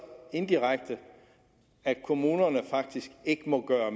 indirekte at kommunerne faktisk ikke må gøre